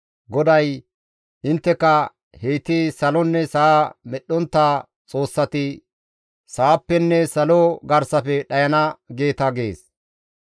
GODAY, «Intteka, ‹Heyti salonne sa7a medhdhontta xoossati sa7appenne salo garsafe dhayana› geeta» gees.